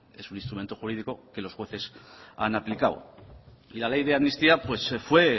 es un instrumento jurídico que los jueces han aplicado y la ley de amnistía fue